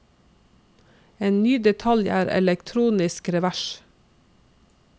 En ny detalj er elektronisk revers.